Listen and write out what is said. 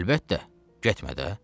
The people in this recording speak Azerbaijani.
Əlbəttə, getmə də.